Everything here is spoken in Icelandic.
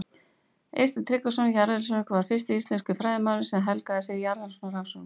Eysteinn Tryggvason jarðskjálftafræðingur var fyrsti íslenski fræðimaðurinn sem helgaði sig jarðskjálftarannsóknum.